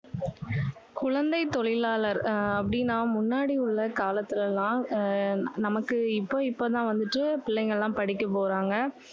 குழந்தை தொழிலாளர் ஆஹ் அப்படின்னா, முன்னாடி உள்ள காலத்துல எல்லாம் உம் நமக்கு இப்போ இப்போதான் வந்துட்டு பிள்ளைங்க எல்லாம் படிக்க போறாங்க.